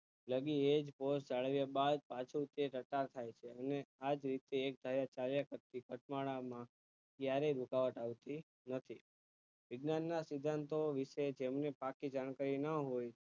દ્રવી એ જ પોષ ચાળવ્યા બાદ પાછું તે ટટાર થાય છે અને આ જ રીતે કાયા ચાવીયા કરતી ક્યારે રોકાવા આવતી નથી વિજ્ઞાન ના સિધાંતો વિષે જેમને પાકી જાણકારી ન હોય